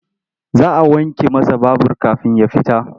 Za a wanke masa babur kafin ya fita.